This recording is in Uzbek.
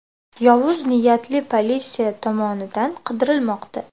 Yovuz niyatli politsiya tomonidan qidirilmoqda.